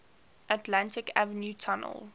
atlantic avenue tunnel